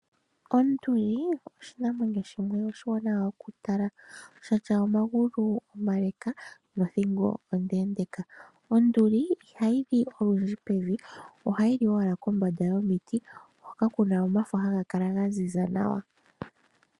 Onduli oshinamwenyo shimwe oshiwanawa okutala, sha tya omagulu omale nothingo ondeendeeka. Onduli ihayi li olundji pevi, ohayi li owala kombanda yomiti hoka ku na omafo haga kala ga ziza nawa.